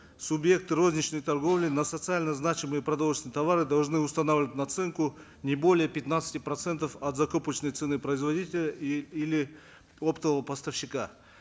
субъекты розничной торговли на социально значимые продовольственные товары должны устанавливать наценку не более пятнадцати процентов от закупочной цены производителя и или оптового поставщика